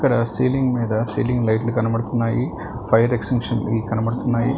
Ceiling మీద ceiling లైట్లు కనబడుతున్నాయి ఫైర్ ఎక్షన్సన్స్ వి కనబడుతున్నాయి.